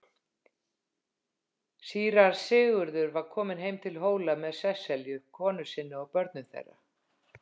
Síra Sigurður var kominn heim til Hóla með Sesselju konu sinni og börnum þeirra.